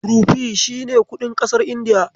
Rufi shi ne kuɗin ƙasar Indiya.